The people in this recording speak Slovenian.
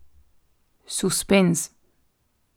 Suspenz.